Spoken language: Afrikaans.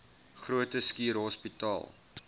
groote schuur hospitaal